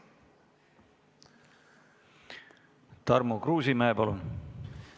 Tarmo Kruusimäe, palun!